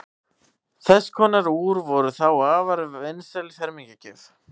þess konar úr voru þá afar vinsæl fermingargjöf